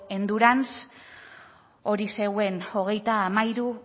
endurance hogeita hamairu